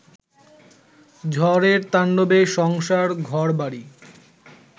ঝড়ের তাণ্ডবে সংসার, ঘরবাড়ি